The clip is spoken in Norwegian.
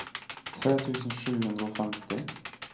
tre tusen sju hundre og femti